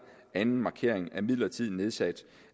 anden markering er midlertidigt nedsat